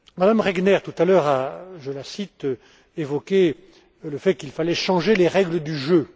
Mme Regner, tout à l'heure, a, je la cite, évoqué le fait qu'il fallait changer les règles du jeu.